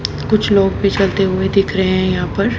कुछ लोग भी चलते हुए दिख रहे हैं यहां पर।